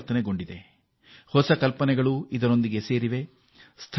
ಇದರ ಜೊತೆಗೆ ಹೊಸ ಕಲ್ಪನೆಗಳು ಹೊಸ ವಿಚಾರಗಳು ಸೇರಿಕೊಳ್ಳುತ್ತಿವೆ